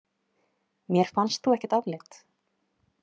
Mér fannst þú ekkert afleit!